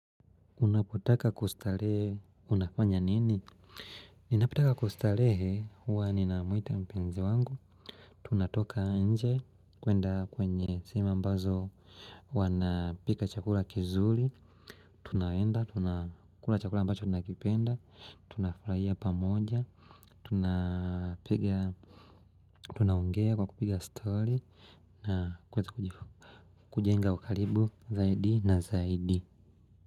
Unapotaka kustarehe unafanya nini ninapotaka kustarehe huwa ninamwita mpenzi wangu tunatoka nje kwenda kwenye sehemu ambazo wanapika chakula kizuri tunaenda tunakula chakula ambacho tunakipenda tunafurahia pamoja tunapiga tunaongea kwa kupiga story na kuweza kujifu kujenga ukaribu zaidi na zaidi.